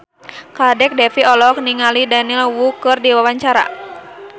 Kadek Devi olohok ningali Daniel Wu keur diwawancara